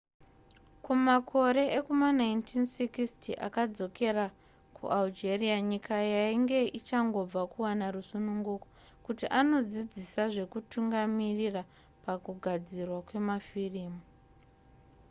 kumakore ekuma1960 akadzokera kualgeria nyika yainge ichangobva kuwana rusununguko kuti anodzidzisa zvekutungamirira pakugadzirwa kwemafirimu